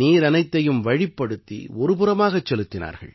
நீர் அனைத்தையும் வழிப்படுத்தி ஒரு புறமாகச் செலுத்தினார்கள்